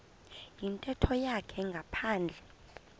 yintetho yakhe ngaphandle